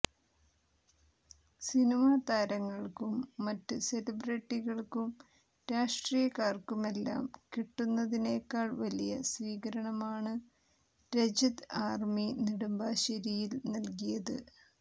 cinema താരങ്ങൾക്കും മറ്റ് സെലിബ്രട്ടികൾക്കും രാഷ്ട്രീയക്കാര്ക്കുമെല്ലാം കിട്ടുന്നതിനെക്കാൾ വലിയ സ്വീകരണമാണ് രജത് ആർമി നെടുമ്പാശേരിയിൽ നൽകിയത്